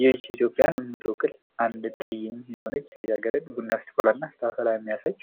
ይች ኢትዮጵያን የምትወክል አንድ ጠይም የሆነች ልጃገረድ ቡና ስትቆላ እና ስታፈላ የሚያሳይ